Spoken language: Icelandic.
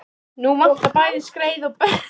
Nú vantar bæði skreið og brennistein í Evrópu.